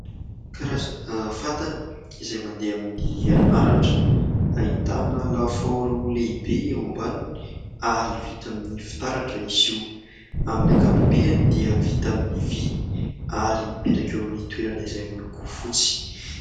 Karazana fatana izay mandeha amin'ny herinaratra, ahitana lafaoro lehibe eo ambaniny ary vita amin'ny fitaratra izy io. Amin'ny ankapobeany dia vita amin'ny vy ary mipetraka eo amin'ny toerana izay moloko fotsy.